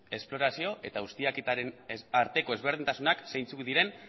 esplorazio eta ustiaketaren arteko ezberdintasunak zeintzuk diren